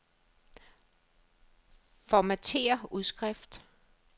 Formatér udskrift.